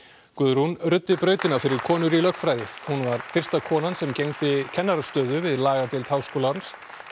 Guðrún ruddi brautina fyrir konur í lögfræði hún var fyrsta konan sem gegndi kennarastöðu við lagadeild Háskólans